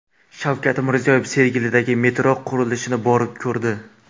Shavkat Mirziyoyev Sergelidagi metro qurilishini borib ko‘rdi.